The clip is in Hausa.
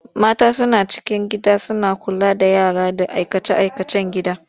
Mata suna cikin gida suna kula da yara da aikace-aikacen gida.